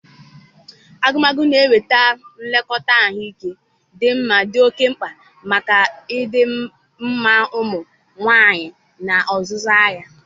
agụmakwụkwọ na inweta nlekọta ahụike dị mma dị oke mkpa maka ịdịmma ụmụ nwanyị n'ozuzu ya